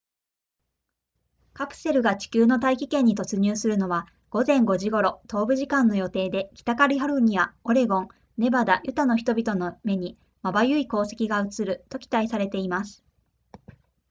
カプセルが地球の大気圏に突入するのは午前5時頃東部時間の予定で北カリフォルニアオレゴンネバダユタの人々の目にまばゆい光跡が映ると期待されています